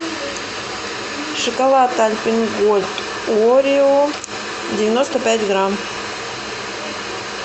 шоколад альпен гольд орео девяносто пять грамм